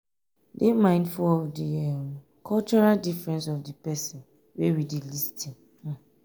dey mindful of di um cultural difference of di person wey dey lis ten um